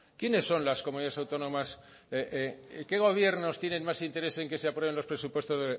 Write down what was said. quiénes son las comunidades autónomas qué gobiernos tienen más interés en que se aprueben las